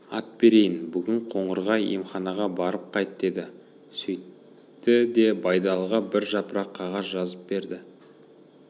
ат берейін бүгін қоңырға емханаға барып қайт деді сөйтті де байдалыға бір жапырақ қағаз жазып берді